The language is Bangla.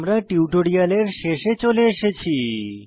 আমরা টিউটোরিয়ালের শেষে চলে এসেছি